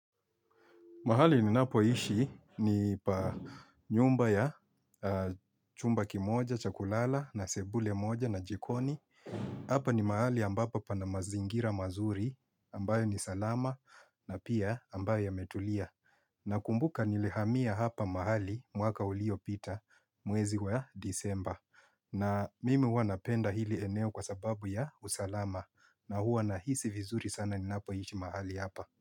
Mahali ninapoishi ni pa nyumba ya chumba kimoja cha kulala na sebule moja na jikoni. Hapa ni mahali ambapo pana mazingira mazuri ambayo ni salama na pia ambayo yametulia. Nakumbuka nilihamia hapa mahali mwaka ulio pita mwezi wa disemba. Na mimi huwa napenda hili eneo kwa sababu ya usalama na huwa nahisi vizuri sana ninapoishi mahali hapa.